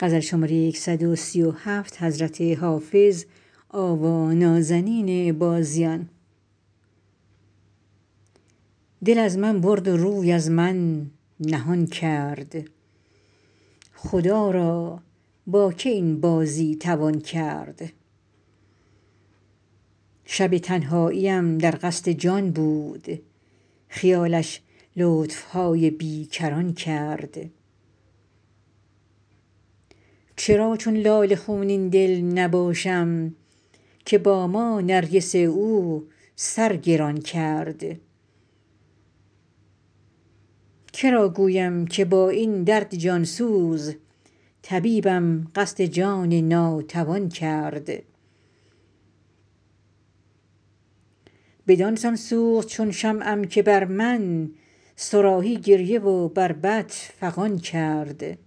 دل از من برد و روی از من نهان کرد خدا را با که این بازی توان کرد شب تنهاییم در قصد جان بود خیالش لطف های بی کران کرد چرا چون لاله خونین دل نباشم که با ما نرگس او سر گران کرد که را گویم که با این درد جان سوز طبیبم قصد جان ناتوان کرد بدان سان سوخت چون شمعم که بر من صراحی گریه و بربط فغان کرد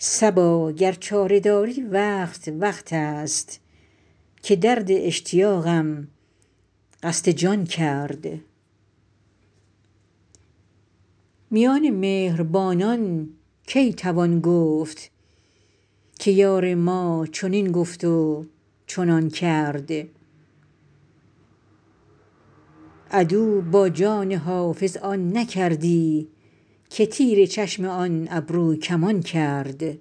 صبا گر چاره داری وقت وقت است که درد اشتیاقم قصد جان کرد میان مهربانان کی توان گفت که یار ما چنین گفت و چنان کرد عدو با جان حافظ آن نکردی که تیر چشم آن ابروکمان کرد